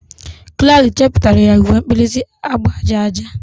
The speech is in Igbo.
Clari chepụtara ya uwe mkpirisi agba aja aja.